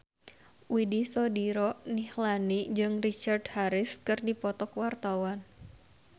Widy Soediro Nichlany jeung Richard Harris keur dipoto ku wartawan